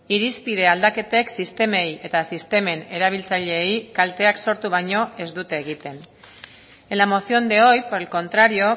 irizpide aldaketek sistemei eta sistemen erabiltzaileei kalteak sortu baino ez dute egiten en la moción de hoy por el contrario